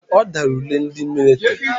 Ọ dara ule ndị mịlịtrị.